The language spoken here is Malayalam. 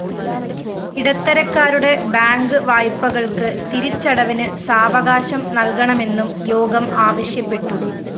ഇടത്തരക്കാരുടെ ബാങ്ക്‌ വായ്‌പകള്‍ക്ക്‌ തിരിച്ചടവിന്‌ സാവകാശം നല്‍കണമെന്നും യോഗം ആവശ്യപ്പെട്ടു